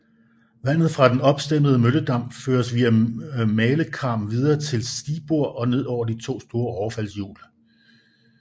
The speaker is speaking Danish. Vandet fra den opstemmede mølledam føres via malekarm videre til stigbord og ned over de to store overfaldshjul